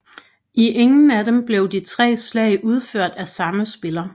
I ingen af dem blev de tre slag udført af samme spiller